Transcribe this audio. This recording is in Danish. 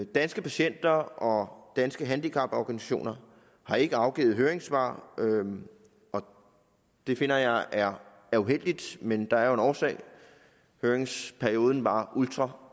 danske patienter og danske handicaporganisationer har ikke afgivet høringssvar og det finder jeg er er uheldigt men der er jo en årsag for høringsperioden var ultrakort